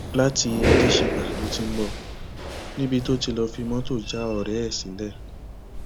láti adáṣègbà lo ti ń bọ níbi tó ti lọọ fi mọtò já ọrẹ ẹ sílẹ